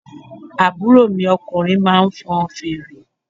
Àbúrò mi ọkùnrin máa ń fọn fèrè.